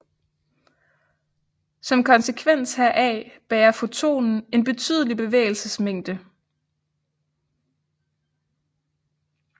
Som konsekvens heraf bærer fotonen en betydelig bevægelsesmængde